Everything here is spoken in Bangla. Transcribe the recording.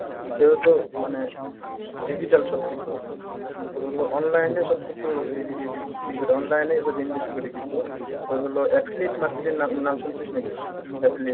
যেহেতু মানে digital সবকিছু এখন তোর হলো online এ সব কিছু এই এইযে কিসের online এ invest করি কিছু তোর হল affiliate market এর নাম নাম শুনছিস নাকি?